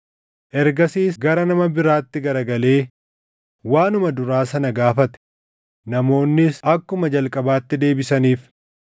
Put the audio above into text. Ergasiis gara nama biraatti garagalee waanuma duraa sana gaafate; namoonnis akkuma jalqabaatti deebisaniif.